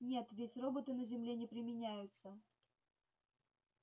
нет ведь роботы на земле не применяются